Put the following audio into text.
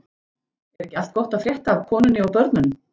Er ekki allt gott að frétta af konunni og börnunum?